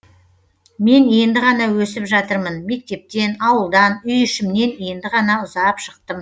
мен енді ғана өсіп жатырмын мектептен ауылдан үй ішімнен енді ғана ұзап шықтым